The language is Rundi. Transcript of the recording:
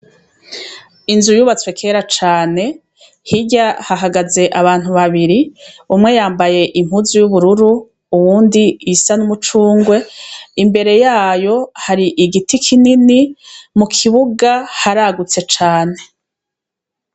Inzu yubatswe kera cane, hirya hahagaze abantu babiri umwe yambaye impuzu y'ubururu uyundi yambaye impuzu isa n'umucungwe imbere yayo hari igiti kinini. Mukbuga haragutse cane.